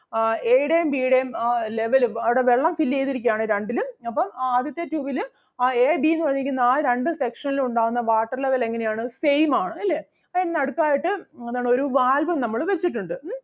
ആഹ് A യുടെയും B യുടെയും ആ level അഹ് അവിടെ വെള്ളം fill ചെയ്‌തിരിക്കുകയാണ് രണ്ടിലും. അപ്പം ആദ്യത്തെ tube ല് ആ A, B എന്ന് പറഞ്ഞിരിക്കുന്ന ആ രണ്ട് section ലും ഉണ്ടാകുന്ന water level എങ്ങനെ ആണ് same ആണ് ല്ലേ? അപ്പൊ എന്നാ അടുത്തതായിട്ട് ആഹ് എന്താണ് ഒരു valve ഉം നമ്മള് വെച്ചിട്ടുണ്ട് ഉം